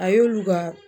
A y'olu ka